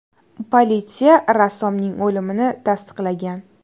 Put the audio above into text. Politsiya rassomning o‘limini tasdiqlagan.